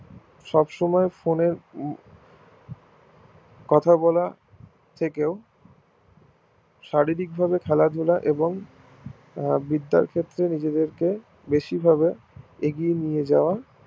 সব সময় phone এর কথা বলা থেকেও শারীরিক ভাবে খেলা ধুলা এবং বিদ্যার ক্ষেত্রে নিজেদের কে বেশি ভাবে এগিয়ে নিয়ে যাওয়া